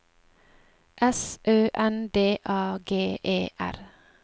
S Ø N D A G E R